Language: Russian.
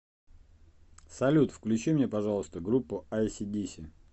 салют включи мне пожалуйста группу айси диси